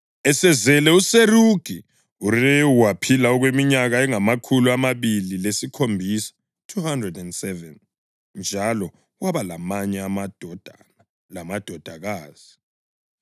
Esezele uSerugi, uRewu waphila okweminyaka engamakhulu amabili lesikhombisa (207), njalo waba lamanye amadodana lamadodakazi.